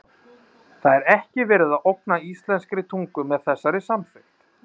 Kristján: Það er ekki verið að ógna íslenskri tungu með þessari samþykkt?